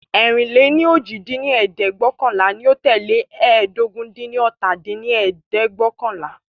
ẹ̀rin-lé-ní-ojì dín ní ẹ̀ẹ́dẹ́gbẹ́ọ̀kànlá ní o tẹ́lẹ̀ ẹ́ẹdógún-dín-ní-ọ́ta dín ní ẹ̀ẹ́dẹ́gbẹ́ọ̀kànlá